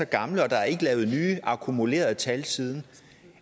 gamle og der er ikke lavet nye akkumulerede tal siden